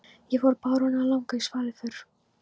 Þá fór baróninn að langa í svaðilför.